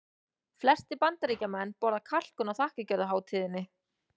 Flestir Bandaríkjamenn borða kalkún á þakkargjörðarhátíðinni.